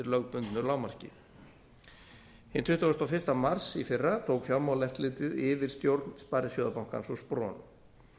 lögbundnu lágmarki hinn tuttugasta og fyrsta mars í fyrra tók fjármálaeftirlitið yfir stjórn sparisjóðabankans og spron